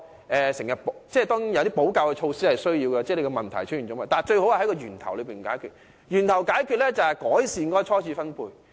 當然，問題出現後，我們有需要採取補救措施，但最好是在源頭解決問題，而方法就是改善初次分配。